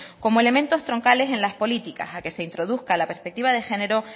como elementos troncales en las políticas a que se introduzca la perspectiva de género